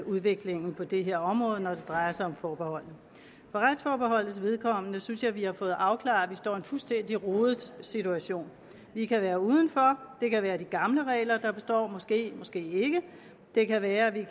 udviklingen på det her område når det drejer sig om forbeholdene for retsforbeholdets vedkommende synes jeg vi har fået afklaret at vi står i en fuldstændig rodet situation vi kan være uden for det kan være de gamle regler der består måske måske ikke det kan være at vi